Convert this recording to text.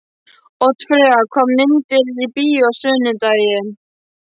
Oddfreyja, hvaða myndir eru í bíó á sunnudaginn?